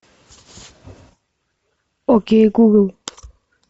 окей гугл